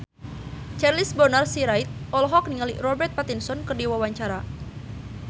Charles Bonar Sirait olohok ningali Robert Pattinson keur diwawancara